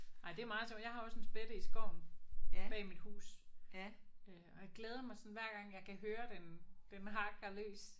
Ej det er meget sjovt jeg har også en spætte i skoven bag mit hus. Øh og jeg glæder mig sådan hver gang jeg kan høre den den hakker løs